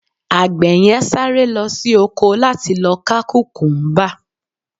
agbe yen sáré lo sí ọkọ la ti lọ ka kukumba